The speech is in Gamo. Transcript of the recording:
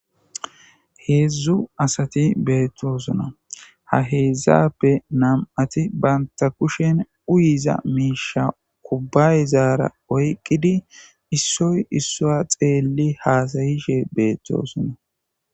Hezdzdu asati bettosona ha hezdzduappe nam"t banta kushshen uyiza mishsha kubayezara oyqidi issoyi issiwa xeli hasayishshe betossona